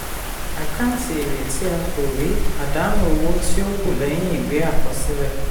àkántì èrè tí a kò rí àdánù owó tí ó kù lẹ́yìn ìwé àkọsílẹ̀.